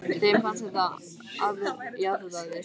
Þeim fannst að þetta jaðraði við sóun.